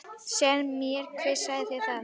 Segðu mér hver sagði þér þetta.